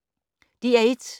DR1